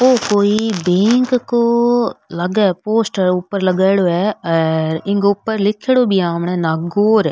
वो कोई बैंक को लागे है पोस्टर ऊपर लगाइड़ो है और इनके ऊपर लिखेड़ो भी है आमने नागौर।